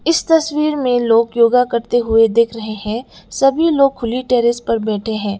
इस तस्वीर में लोगा योग करते हुए देख रहे हैं सभी लोग खुली टेरेस पर बैठे हैं।